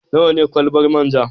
Nawa ne kwalabar man ja?